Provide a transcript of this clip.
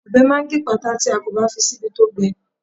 Ọbẹ̀ máa gípàtà tí a kò bá fi síbi tó gbẹ.